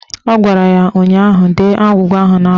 Ọ gwara ya ụnyaahụ "Dee agwụgwa ahụ n'akwụkwọ"!